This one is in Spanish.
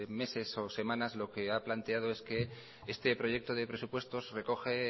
meses o semanas lo que ha planteado es que este proyecto de presupuestos recoge